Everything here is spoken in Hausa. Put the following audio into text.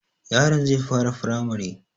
Yaron zai fara firamare